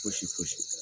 Fosi fosi